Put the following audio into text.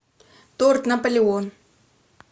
торт наполеон